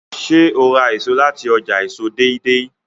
ṣe o rà èso láti ọjà èso Deidei?